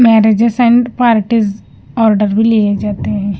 Marriages and parties order भी लिए जाते हैं।